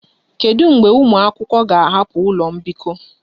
Kedu mgbe ụmụ akwụkwọ ga-ahapụ ụlọ mbikọ?